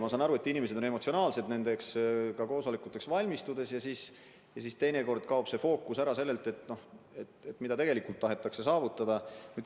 Ma saan aru, et inimesed on nendeks koosolekuteks valmistudes väga emotsionaalsed ja teinekord kaob fookus ära sellelt, mida tegelikult tahetakse saavutada.